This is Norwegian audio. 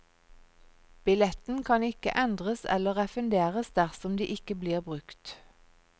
Billetten kan ikke endres eller refunderes dersom de ikke blir brukt.